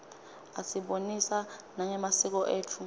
asibonisa nangemasiko etfu